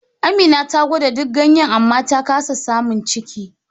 Amina ta gwada duk ganyen amma ta kasa samun ciki.